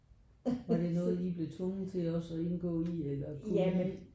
Var det noget I blev tvunget til også at indgå i eller kunne I?